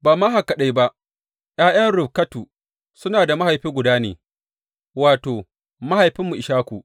Ba ma haka kaɗai ba, ’ya’yan Rifkatu suna da mahaifi guda ne, wato, mahaifinmu Ishaku.